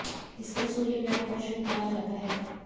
इसलिए सूर्य ग्रहण को अशुभ माना जाता है